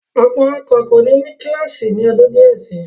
Ọ̀pọ̀ ọkọ̀ kò ní ní kílọ́ọ̀sì ni ọdún díẹ̀ si.